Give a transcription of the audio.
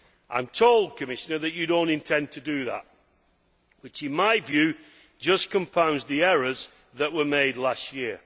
I am told, Commissioner, that you do not intend to do that, which in my view just compounds the errors that were made last year.